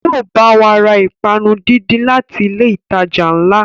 Yóò bá wa ra ìpápánu díndín láti ilé ìtajà ńlá